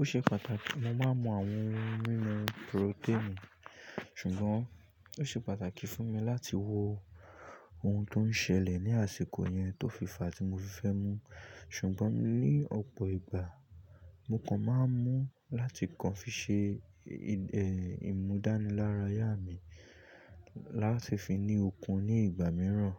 O ṣe pàtàkì mo máa ń mu àwọn ohun mímu protein, ṣùgbọ́n ó ṣe pàtàkì fún mi láti wo ohun tó ń ṣẹlẹ̀ ní àsìkò yẹn tó fìfà tí mo fi fẹ́ mu. Ṣùgbọ́n ní ọ̀pọ̀ ìgbà mo kan máa ń mu láti kan fi ṣe, ẹ, ìmúdánilárayá mi láti fi ni okun ní ìgbà mìíràn.